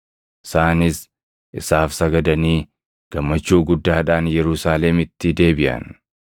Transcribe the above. Isaanis isaaf sagadanii gammachuu guddaadhaan Yerusaalemitti deebiʼan.